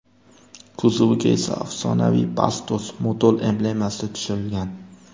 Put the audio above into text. Kuzoviga esa afsonaviy Bastos / Motul emblemasi tushirilgan.